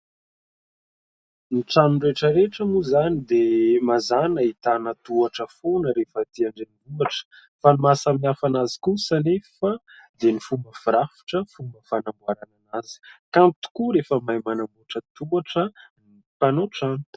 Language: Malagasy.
Ny trano rehetra rehetra moa izany dia mazana ahitana tohatra foana rehefa aty an-drenivohitra; fa ny mahasamihafa anazy kosa anefa dia ny fomba firafitra, fomba fanamboaranana azy. Kanto tokoa rehefa mahay manamboatra tohatra ny mpanamboatra trano.